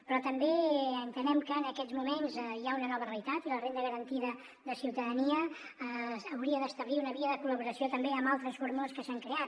però també entenem que en aquests moments hi ha una nova realitat i la renda garantida de ciutadania hauria d’establir una via de col·laboració també amb altres fórmules que s’han creat